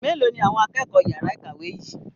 Melo ni àwọn akẹ́kọ̀ọ́ yara ìkàwé yìí?